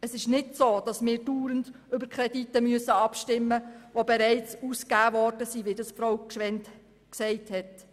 Es ist nicht so, dass wir dauernd über Kredite abstimmen müssen, die bereits ausgegeben wurden, wie Grossrätin Gschwend gesagt hat.